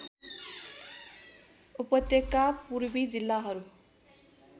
उपत्यका पूर्वी जिल्लाहरू